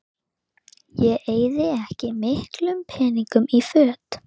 Ég eyði ekki miklum peningum í föt